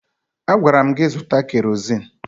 Agwara m gị zụta kerozin!